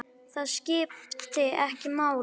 Það skipti ekki máli.